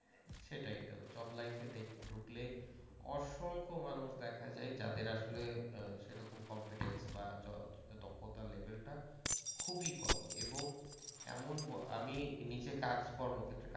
সেটাইতো জব লাইফে ঢুকলে অসংখ্য মানুষ দেখা যায় যাদের আসলে সেরকম কম্ভিটেন্স বা দক্ষতার লেভেলটা খুবই কম এবং এমন আমি নিজে কাজকর্ম ক্ষেত্রের